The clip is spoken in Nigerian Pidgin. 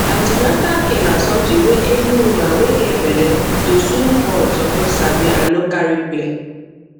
an ten atal care na something wey every woman wey get belle to soon born suppose sabi and no carry play